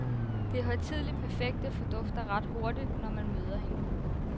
Det højtideligt perfekte fordufter ret hurtigt, når man møder hende.